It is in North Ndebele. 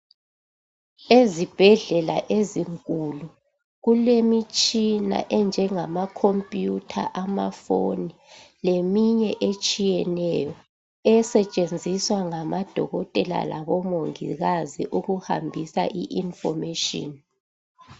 Ezibhedlela ezinkulu kulemitshina enjengama computer amafoni leminye etshiyeneyo esetshenziswa ngamadokotela lomongikwazi ukuhambisa i information